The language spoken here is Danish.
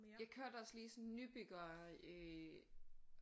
Jeg kørte også lige sådan nybygger øh